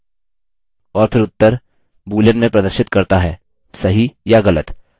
और फिर उत्तर boolean में प्रदर्शित करता हैसही या गलत